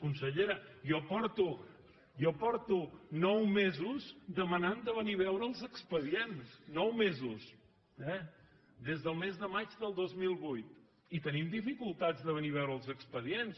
consellera jo porto nou mesos demanant de venir a veure els expedients nou mesos eh des del mes de maig del dos mil vuit i tenim dificultats de venir a veure els expedients